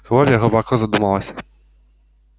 кловер глубоко задумалась